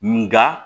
Nga